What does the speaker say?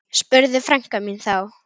spurði frænka mín þá.